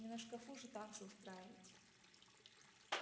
не на шкафу же танцы устраивать